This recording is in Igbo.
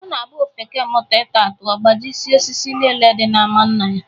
Ọ na-abụ ofeke mụta ita atụ ọ gbajisie osisi niile di n'ama nna ya